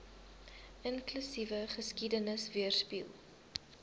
inklusiewe geskiedenis weerspieël